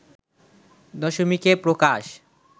দশমিকে প্রকাশ